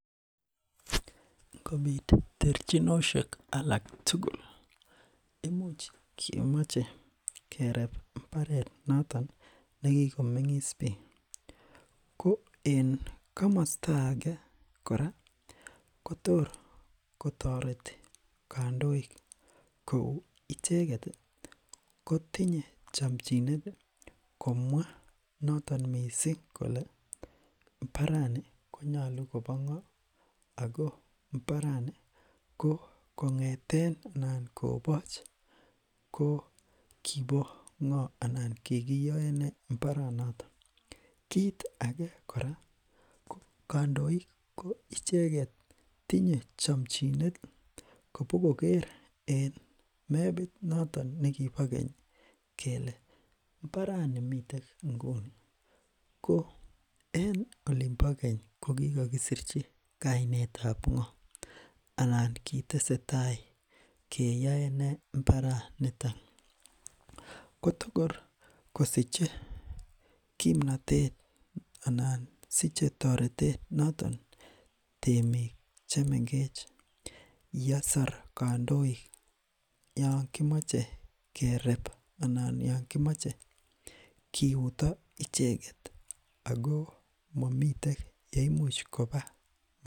Ngobit terchinoshek alak tugul imuch kemoche kereb mbaret noton nekikomengis biik ko en komosto ake kora Kotor kotoreti kandoik kou icheket ii kotinye chomchinet komwa noton mising kole mbarani konyolu kobongo Ako mbarani kong'eten anan ngoboch ko kobongo anan kikiyoenee mbaronotok kit ake kandoik icheket kotinye chomchinet bo koker en mebit noton nekipo keny kele mbarani miten Nguni ko en oliimpo keny kokikokisitchi kainetab ngoo anan kiteseta keyoenee mbaranitok kotorkosiche kimnotet anan siche toretet notok temik chemengech yes or kandoik Yoon komoche kereb anan Yoon komoche kiuto icheget Ako momiten yeimuch koba